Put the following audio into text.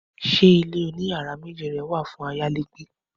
Ṣé ilé oní yàrá méjì rẹ wà fún ayálégbé